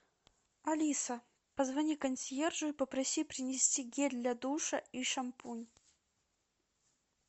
алиса позвони консьержу и попроси принести гель для душа и шампунь